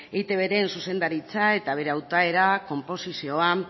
eitbren zuzendaritza eta bere hautaera konposizioa